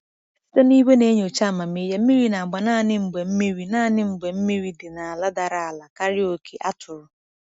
Site na igwe na-enyocha amamihe, mmiri na-agba naanị mgbe mmiri naanị mgbe mmiri dị n’ala dara ala karịa oke a tụrụ.